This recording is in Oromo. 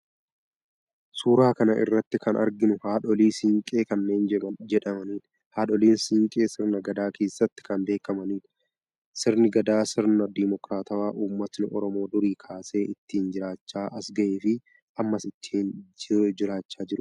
Suuraa kana irratti kan arginu haadholii Siinqee kanneen jedhamanidha. Haadholiin Siinqee sirna gadaa keessatti kan beekamanidha. Sirni gadaa sirna dimookiraatawaa uummatni Oromoo durii kaasee ittiin jiraachaa as gahee fi ammas ittiin juraachaa jirudha.